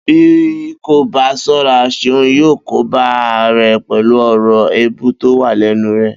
Bí kò bá só̩ra. Seun yóó kóbá ara rè̩ pè̩lú ò̩rò̩ èébú tó wà lé̩nu rè̩